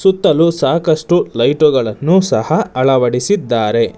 ಸುತ್ತಲು ಸಾಕಷ್ಟು ಲೈಟುಗಳನ್ನು ಸಹ ಅಳವಡಿಸಿದ್ದಾರೆ.